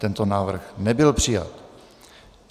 Tento návrh nebyl přijat.